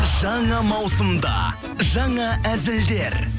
жаңа маусымда жаңа әзілдер